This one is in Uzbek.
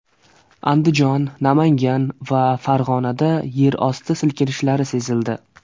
Andijon, Namangan va Farg‘onada yerosti silkinishlari sezildi.